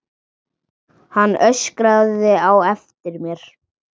Hann öskraði á eftir mér.